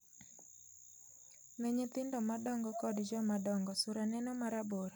Ne nyithindo madongo kod jomadongo, sura neno marabora.